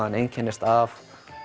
hann einkennist af